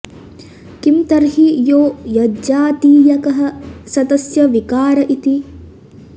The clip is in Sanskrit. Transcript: किं तर्हि यो यज्जातीयकः स तस्य विकार इति